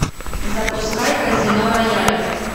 запускай казино рояль